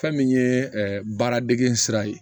Fɛn min ye baara dege sira ye